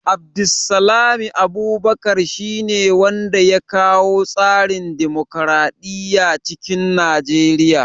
Abdulsalmi Abubakar shi ne wanda ya kawo tsarin dimokraɗiya cikin Nigeriya